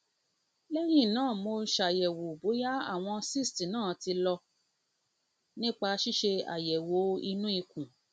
lẹyìn náà mo ṣàyẹwò bóyá àwọn cysts náà ti lọ náà ti lọ nípa ṣíṣe àyẹwò inú ikùn